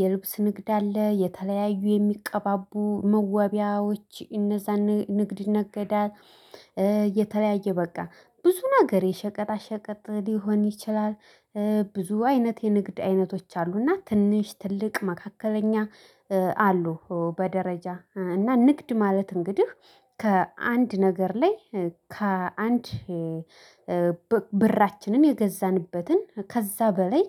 የልብስ ንግድ አለ የተለያዩ የሚቀባቡ መዋቢያዎች እነዛን ንግድ ይነገዳል። የተለያየ በቃ ብዙ ነገር የሸቀጣ ሸቀጥ ሊሆን ይችላል። ብዙ አይነት የንግድ አይነቶች አሉና ትንሽ ትልቅ መካከለኛ አሉ። በደረጃ እና ንግድ ማለት እንግዲህ ከአንድ ነገር ላይ ከአንድ ብራችንን የገዛንበትን ከዛ በላይ